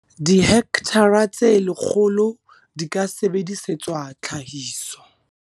Dihekthara tse 100 di ka sebedisetswa tlhahiso.